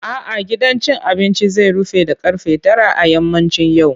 A'a, gidan cin abinci zai rufe da ƙarfe tara a yammacin yau.